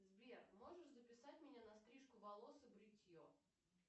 сбер можешь записать меня на стрижку волос и бритье